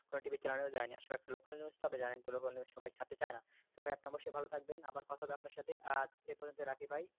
কোনো TV র channel এও যায়নি আসলে একটা local news তো আপনি জানেন তো local news সবাই ছাড়তে চায়না তবে আপনি ভালো থাকবেন আবার কথা হবে আপনার সাথে তবে এ পর্যন্ত রাখি তাই এটা আমরা facebook এও দেইনি আর,